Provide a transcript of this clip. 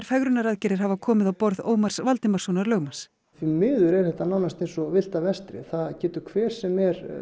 fegrunaraðgerðir hafa komið á borð Ómars Valdimarssonar lögmanns því miður er þetta nánast eins og villta vestrið það getur hver sem er